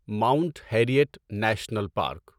Mount Harriet National park